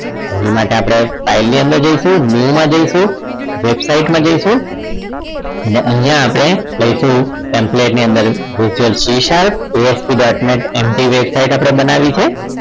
એની માટે આપણે file ની અંદર જઈશું new માં જઈશું website માં જઈશું અને અહીંયા આપણે લઈશું employer ની અંદર visual C sharp esp dot netMG website આપણે બનાવી છે